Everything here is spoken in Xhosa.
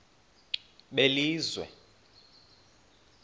belizwe